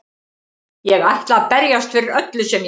Ég ætla að berjast fyrir öllu sem ég á.